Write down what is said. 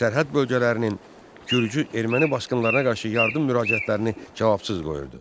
Sərhəd bölgələrinin Gürcü-erməni basqınlarına qarşı yardım müraciətlərini cavabsız qoyurdu.